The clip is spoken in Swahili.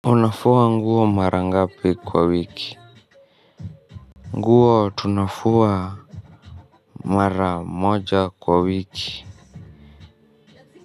Unafua nguo mara ngapi kwa wiki. Nguo tunafua mara moja kwa wiki.